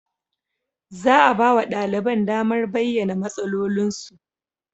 Za a ba wa ɗaliban damar bayyana matsalolinsu.